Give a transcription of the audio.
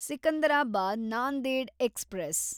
Secunderabad Nanded express